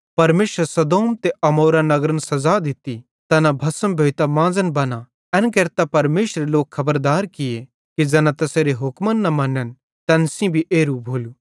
परमेशरे सदोम ते अमोरा नगरन सज़ा दित्ती तैना भस्म भोइतां मांज़न बना एन केरतां परमेशरे लोक खबरदार किये कि ज़ैना तैसेरे हुक्म ना मनन तैन सेइं भी एरू भोलू